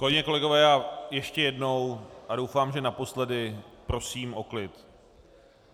Kolegyně, kolegové, já ještě jednou a doufám, že naposledy, prosím o klid.